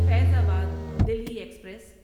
Faizabad Delhi express